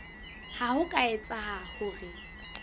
ha ho ka etseha hore